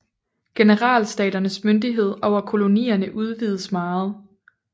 Generalstaternes myndighed over kolonierne udvidedes meget